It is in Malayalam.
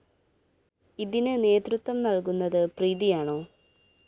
ഇതിന് നേതൃത്വം നല്‍കുന്നത് പ്രീതിയാണോ?